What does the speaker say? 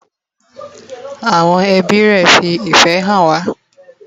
Awon ebi re fi ife han wa